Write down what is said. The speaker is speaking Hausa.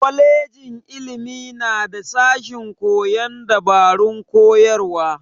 Kwajejin ilimi na da sashen koyon dabarun koyarwa.